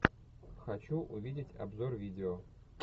хочу увидеть обзор видео